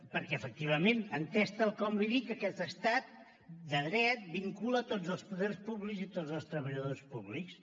perquè efectivament entès tal com li dic aquest estat de dret vincula tots els poders públics i tots els treballadors públics